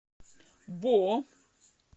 бо